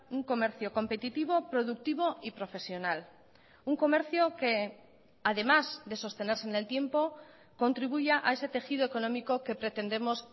un comercio competitivo productivo y profesional un comercio que además de sostenerse en el tiempo contribuya a ese tejido económico que pretendemos